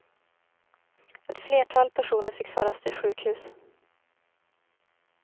Ett flertal personer fick föras till sjukhus.